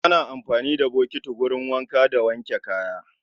Ana amfani da bokiti wurin wanka da wanke kaya.